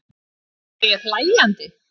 Var ég hlæjandi?